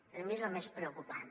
per mi és el més preocupant